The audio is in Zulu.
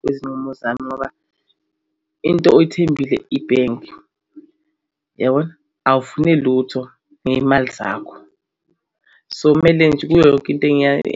Kwezinqumo zami ngoba into oyithembile ibhenki yabona awufune lutho ngey'mali zakho, so kumele nje kuyo yonke into